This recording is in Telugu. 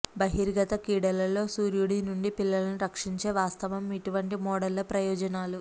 బహిర్గత క్రీడలలో సూర్యుడి నుండి పిల్లలను రక్షించే వాస్తవం ఇటువంటి మోడళ్ల ప్రయోజనాలు